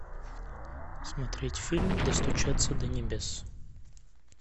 смотреть фильм достучаться до небес